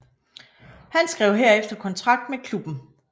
Han skrev herefter kontrakt med klubben